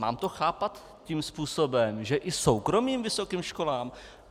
Mám to chápat tím způsobem, že i soukromým vysokým školám?